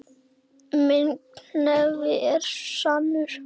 Minn hnefi er sannur.